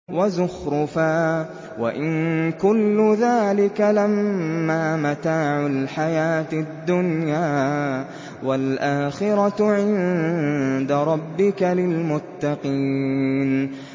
وَزُخْرُفًا ۚ وَإِن كُلُّ ذَٰلِكَ لَمَّا مَتَاعُ الْحَيَاةِ الدُّنْيَا ۚ وَالْآخِرَةُ عِندَ رَبِّكَ لِلْمُتَّقِينَ